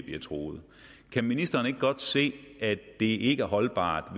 bliver truet kan ministeren ikke godt se at det ikke er holdbart